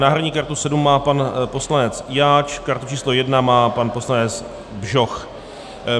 Náhradní kartu 7 má pan poslanec Jáč, kartu číslo 1 má pan poslanec Bžoch.